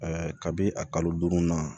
kabi a kalo duuru na